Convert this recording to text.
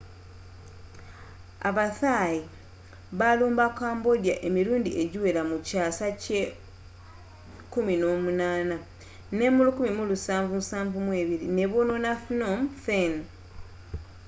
aba thais balumba cambodia emirundi egiwera mu kyaasa ky’e18 nemu 1772 nebonoona phnom phen